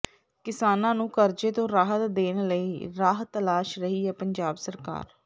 ਕਿਸਾਨਾਂ ਨੂੰ ਕਰਜ਼ੇ ਤੋਂ ਰਾਹਤ ਦੇਣ ਲਈ ਰਾਹ ਤਲਾਸ਼ ਰਹੀ ਹੈ ਪੰਜਾਬ ਸਰਕਾਰ